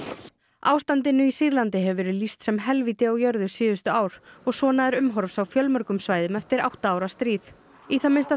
ástandinu í Sýrlandi hefur verið lýst sem helvíti á jörðu síðustu ár og svona er umhorfs á fjölmörgum svæðum eftir átta ára stríð í það minnsta